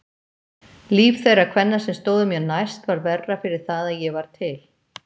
Líf þeirra kvenna sem stóðu mér næst varð verra fyrir það að ég var til.